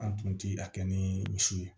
An tun tɛ a kɛ ni misi ye